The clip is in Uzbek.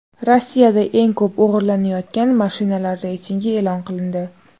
Rossiyada eng ko‘p o‘g‘irlanayotgan mashinalar reytingi e’lon qilindi.